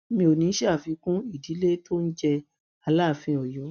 mi ò ní í ṣàfikún ìdílé tó ń jẹ aláàfin ọyọ